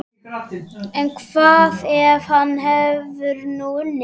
En hvað ef hann hefur nú unnið?